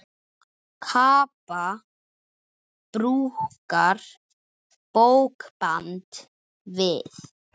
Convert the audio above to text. Kappa brúkar bókband við.